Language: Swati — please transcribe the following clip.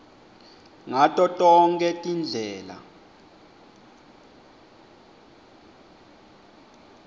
ngato tonkhe tindlela